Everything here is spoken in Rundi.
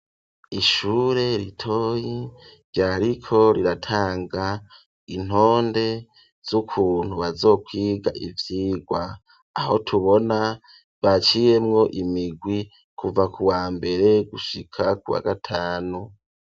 Ishure ritoyi ryariko riratanga intonde z'ukuntu bazokwiga ivyigwa aho tubona baciyemwo imigwi kuva ku wambere gushika kuwa gatanu.